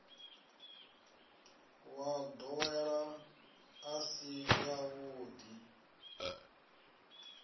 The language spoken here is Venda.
wa ndowelo i si yavhudi